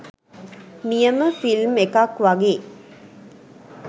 නියම ෆිල්ම් එකක් වගේ